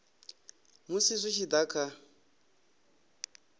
musi zwi tshi da kha